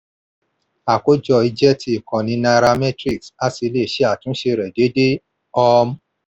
àkójọ yìí jẹ́ ti ìkànnì nairametrics a sì le ṣe àtúnṣe rẹ̀ déédéé. um